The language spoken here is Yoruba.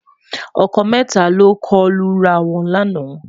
ọkọ mẹta lọkọ Lu rà wọn lànà